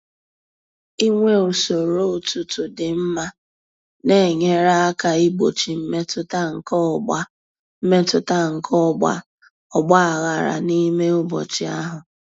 Inwe usoro ụtụtụ dị mma na-enyere aka igbochi mmetụta nke ọgba mmetụta nke ọgba aghara n'ime ụbọchị ahụ.